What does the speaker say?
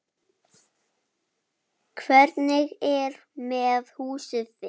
Hvernig er með húsið þitt